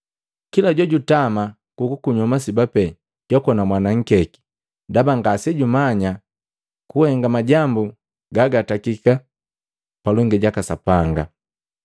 Kila jojutama kukunywa masiba pee jwakona mwana nkeki ndaba ngasejumanya kuhenga majambu gagajetakiki palongi jaka Sapanga.